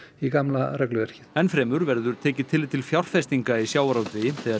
í gamla regluverkið enn fremur verður tekið tillit til fjárfestinga í sjávarútvegi þegar